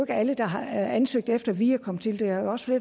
alle der har ansøgt efter at vi er kommet til det er jo også